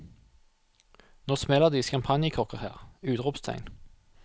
Nå smeller det i champagnekorker her! utropstegn